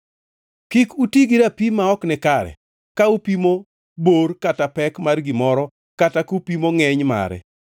“ ‘Kik uti gi rapim ma ok nikare ka upimo bor kata pek mar gimoro kata kupimo ngʼeny mare.